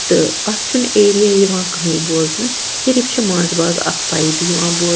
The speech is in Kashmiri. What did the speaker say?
تہٕ اَتھ چُھنہٕ ایریا یِوان کہٲنۍبوزنہٕ صِرف چُھ منٛزباگ اکھ پایپ .یِوان بوزنہٕ